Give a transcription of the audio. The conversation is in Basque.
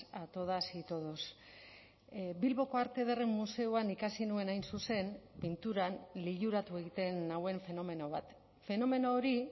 a todas y todos bilboko arte ederren museoan ikasi nuen hain zuzen pinturan liluratu egiten nauen fenomeno bat fenomeno hori